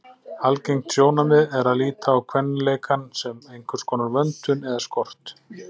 Algengt sjónarmið er að líta á kvenleikann sem einhverskonar vöntun eða skort.